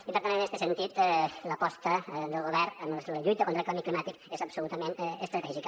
i per tant en este sentit l’aposta del govern en la lluita contra el canvi climàtic és absolutament estratègica